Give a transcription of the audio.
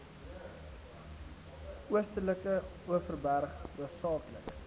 oostelike overberg hoofsaaklik